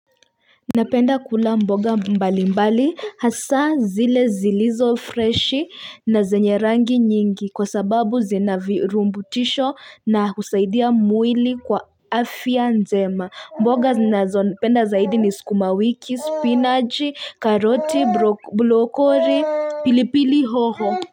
Napenda kula mboga mbali mbali hasa zile zilizo freshi na zenye rangi nyingi kwa sababu zina virutubisho na kusaidia mwili kwa afya njema mboga ninazopenda zaidi ni skumawiki spinaji karoti blokori pilipili hoho.